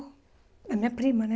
A minha prima, né?